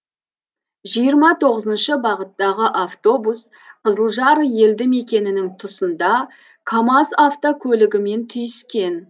жиырма тоғызыншы бағыттағы автобус қызылжар елді мекенінің тұсында камаз автокөлігімен түйіскен